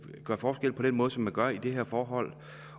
gør forskel på den måde som man gør i det her forhold